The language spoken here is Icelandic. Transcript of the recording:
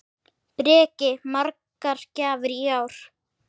Breki: Margar gjafir í ár?